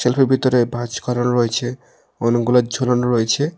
ভিতরে ভাঁজ করা রয়েছে অনেকগুলা ঝুলানো রয়েছে।